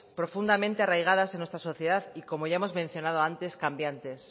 profundamente arraigadas en nuestra sociedad y como ya hemos mencionado antes cambiantes